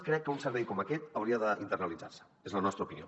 crec que un servei com aquest hauria d’internalitzar se és la nostra opinió